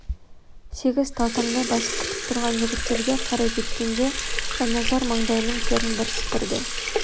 сегіз талтаңдай басып күтіп түрған жігіттерге қарай кеткенде жанназар маңдайының терін бір сыпырды